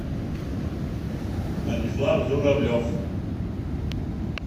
станислав журавлев